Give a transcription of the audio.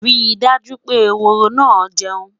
rí dájú pé ehoro na jeun